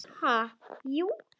Ha, jú.